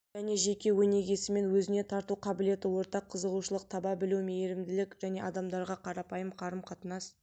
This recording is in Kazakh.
және жеке өнегесімен өзіне тарту қабілеті ортақ қызығушылық таба білу мейірімділік және адамдарға қарапайым қарым-қатынас